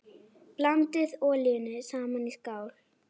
Blandið olíunum saman í skál.